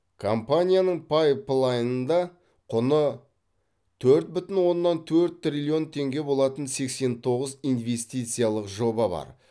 компанияның пайплайнында құны төрт бүтін оннан төрт триллион теңге болатын сексен тоғыз инвестициялық жоба бар